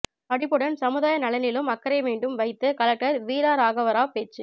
படிப்புடன் சமுதாய நலனிலும் அக்கறை வேண்டும் வைத்து கலெக்டர் வீரராகவராவ் பேச்சு